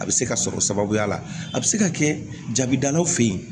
A bɛ se ka sɔrɔ sababuya la a bɛ se ka kɛ jabida fɛ yen